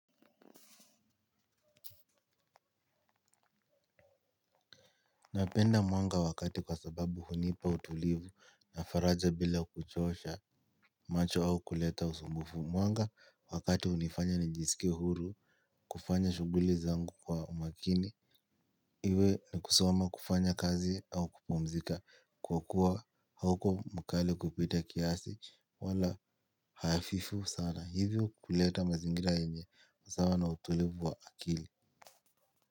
Napenda mwanga wakati kwa sababu hunipa utulivu na faraja bila kuchosha macho au kuleta usumbufu mwanga wakati hunifanya nijisikie huru kufanya shughuli zangu kwa umakini. Iwe ni kusoma kufanya kazi au kupumzika kwa kuwa hauko mkali kupita kiasi wala hafifu sana hivyo kuleta mazingira yenye usawa na utulivu wa akili.